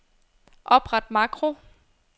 Opret makro.